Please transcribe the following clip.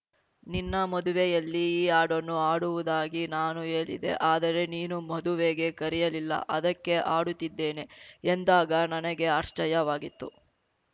ನಿನ್ನ ಮದುವೆಯಲ್ಲಿ ಈ ಹಾಡನ್ನು ಹಾಡುವುದಾಗಿ ನಾನು ಹೇಳಿದ್ದೆ ಆದರೆ ನೀನು ಮದುವೆಗೆ ಕರೆಯಲಿಲ್ಲ ಅದಕ್ಕೆ ಹಾಡುತ್ತಿದ್ದೇನೆ ಎಂದಾಗ ನನಗೆ ಆಶ್ಚರ್ಯವಾಗಿತ್ತು